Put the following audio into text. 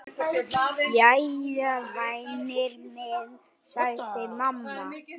Jæja, væni minn, sagði mamma.